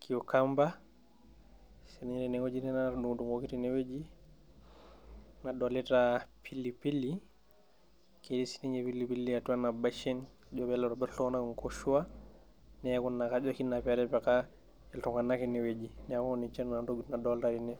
cucumber sininye tenewoji nena natudung'udung'oki teneweji nadolita pilipili ketii sininye pilipili atua ena beshen ejo peelo aitobirr iltung'anak inkoshua neeku ina kajo oshi ina petipika iltung'anak enewueji niaku ninche naa intokiting nadolta tene.